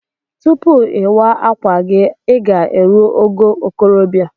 Tupu iwa akwa gi iga erụ ogo okorobia.